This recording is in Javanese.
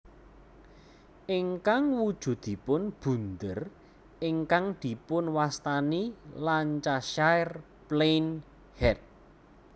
Ingkang wujudipun bunder ingkang dipunwastani Lancashire Plain Head